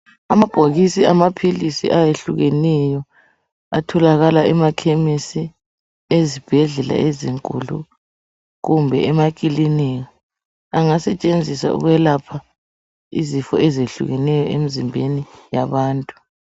amabhaokisi amaphilisi ayehlukeneyo atholokala emakhemesi ezibhedlela ezinkulu kumbe emakilinika anagsetshenziswa ukwelapha izifo ezehlukeneyo emzimbenin yabantu